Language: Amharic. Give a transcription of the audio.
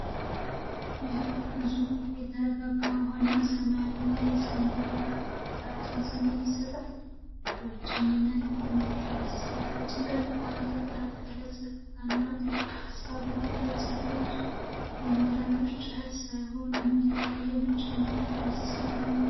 ይህ ግዙፍ የተረጋጋ ውሃና ሰማያዊ የሰማይ ዳራ የሀዘን ስሜት ይሰጣል። በብቸኝነት የቆመችው ደሴት ከጭንቀት ጋር የተቀላቀለ ጸጥታንና ጥልቅ ሐሳብን ትገልጻለች። የሚረብሽ ጩኸት ሳይኖር የሚታይ የብቸኝነት ምስል ነው።